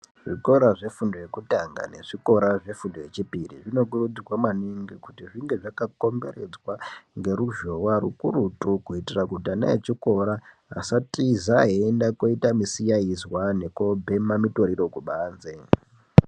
Zvikora zvefundo yekutanga nezvikora nezvefundo yechipiri zvinokurudzirwa maningi kuti zvinge zvakakomberedzwa ngeruzhowa rukurutu kuitira kuti ana echikora asatiza einde koite misikaizwa nekubhema mitoriro kubanze.